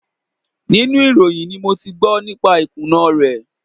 Inú ìròyìn ni mo ti gbọ́ nípa ìkùnà rẹ̀.